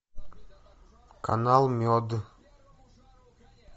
канал мед